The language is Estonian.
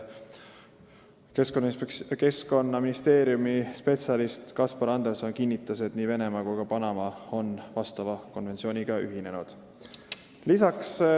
Keskkonnaministeeriumi peaspetsialist Kaspar Anderson kinnitas, et nii Venemaa kui ka Panama on vastava konventsiooniga ühinenud.